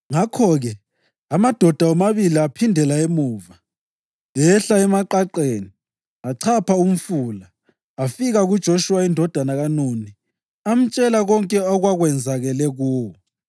Ngakho-ke amadoda womabili aphindela emuva. Ehla emaqaqeni, achapha umfula, afika kuJoshuwa indodana kaNuni amtshela konke okwakwenzakele kuwo.